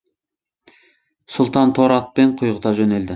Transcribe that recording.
сұлтан торы атпен құйғыта жөнелді